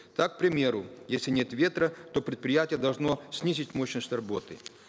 так к примеру если нет ветра то предприятие должно снизить мощность работы